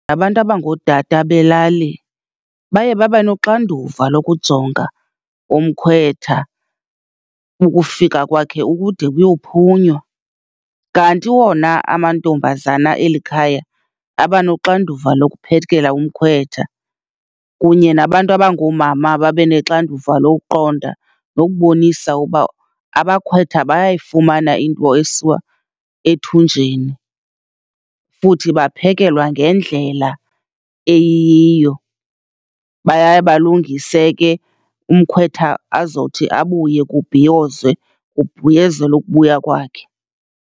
Abantu abangootata belali baye babenoxanduva lokujonga umkhwetha ukufika kwakhe ukude kuyophunywa. Kanti wona amantombazana eli khaya, abanoxanduva lokuphekela umkhwetha, kunye nabantu abangoomama babe nexanduva lokuqonda nokubonisa uba abakhwetha bayayifumana into esiwa ethunjeni, futhi baphekelwa ngendlela eyiyo. Baya balungise ke umkhwetha azothi abuye kubhiyozwe, kubhiyozelwa ukubuya kwakhe.